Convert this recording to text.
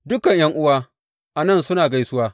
Dukan ’yan’uwa a nan suna gaisuwa.